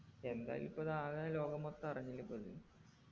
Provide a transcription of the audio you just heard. എന്തായാലും ഇപ്പൊ ഇതാകെ ലോകം മൊത്തം അറിഞ്ഞില്ലേ പെണ്ണ്